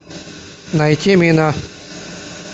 найти мина